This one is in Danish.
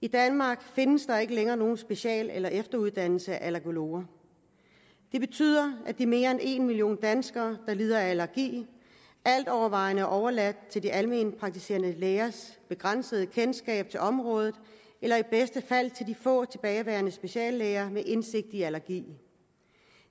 i danmark findes der ikke længere nogen special eller efteruddannelse af allergologer det betyder at de mere end en million danskere der lider af allergi alt overvejende er overladt til de alment praktiserende lægers begrænsede kendskab til området eller i bedste fald til de få tilbageværende speciallæger med indsigt i allergi